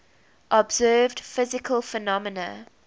observed physical phenomena